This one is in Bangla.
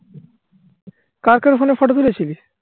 কার কার ফোনে photo তুলে ছিলি